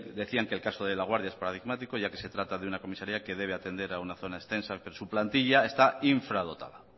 decían que el caso de laguardia es paradigmático ya que se trata de una comisaría que debe atender a una zona extensa que su plantilla está infradotada